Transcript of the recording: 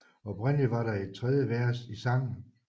Oprindeligt var der et tredje vers i sangen